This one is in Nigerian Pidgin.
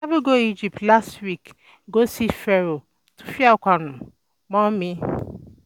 I travel go Egypt last week go see Pharoah Tutankhamun mummy